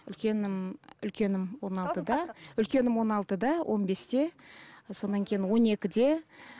үлкенім үлкенім он алтыда үлкенім он алтыда он бесте сонан кейін он екіде